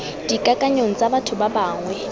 dikakanyong tsa batho ba bangwe